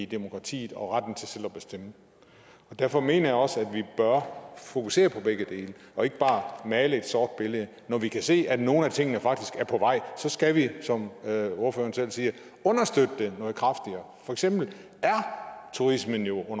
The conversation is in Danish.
demokratiet og retten til selv at bestemme derfor mener jeg også at vi bør fokusere på begge dele og ikke bare male et sort billede når vi kan se at nogle af tingene faktisk er på vej så skal vi som ordføreren selv siger understøtte det noget kraftigere for eksempel er turismen jo